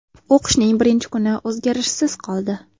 O‘qishning birinchi kuni o‘zgarishsiz qoldi.